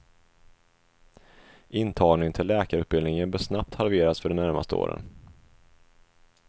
Intagningen till läkarutbildningen bör snabbt halveras för de närmaste åren.